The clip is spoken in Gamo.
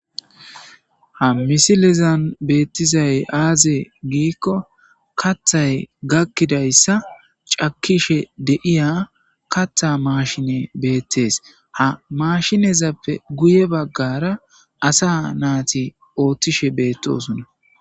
ha misilizan beettizay aaze giikko kathay gakkidayssa cakishe deiya katha maashine beettees ha mashinezappe guye baggara asa naati oothtishe beettosunna